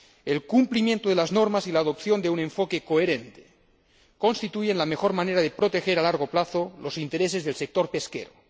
El cumplimiento de las normas y la adopción de un enfoque coherente constituyen la mejor manera de proteger a largo plazo los intereses del sector pesquero.